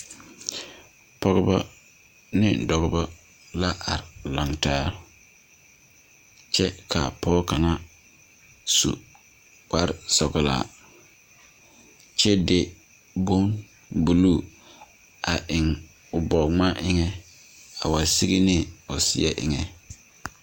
Pɔgba ane dɔba la are laŋtaa kyɛ ka a pɔge kaŋ su kparesɔglaa. A pɔge de la boŋ buluu a eŋ o bɔge-gmane pʋɔ a wa te sigi ne o seɛ pʋɔ.